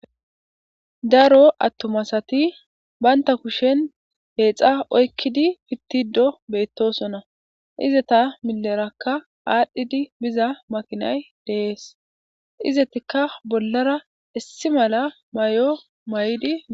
Daro attumasati baynta kushen Peexa oykkidi pittido beettosona izata milerakka aadhdhidi biza makinay deees izetikka bollara issi mala may'o may'di.